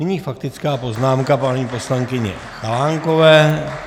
Nyní faktická poznámka paní poslankyně Chalánkové.